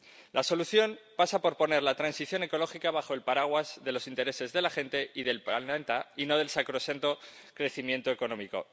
La solución pasa por poner la transición ecológica bajo el paraguas de los intereses de la gente y del planeta, y no del sacrosanto crecimiento económico.